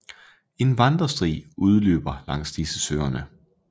En vandresti løber langs disse søerne